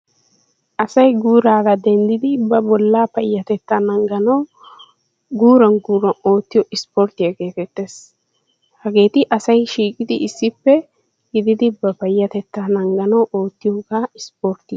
Asay guurarara denddidi ba bollaa payatettaa nangganawu guuran guuran oottiyoo isporttiyaa getettees. hageeti asay shiiqqidi issippe ba payatettaa nangganawu oottiyooga isporttiyaa.